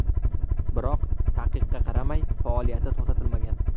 Biroq taqiqqa qaramay, faoliyati to‘xtatilmagan.